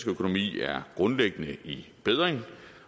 økonomi er grundlæggende i bedring